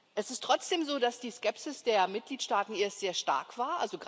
Es ist trotzdem so, dass die Skepsis der Mitgliedstaaten erst sehr stark war.